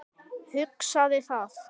Hugsaði það.